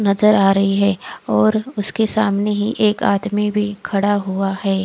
और नजर आ रही है और उसके सामने ही एक आदमी भी खड़ा हुआ है।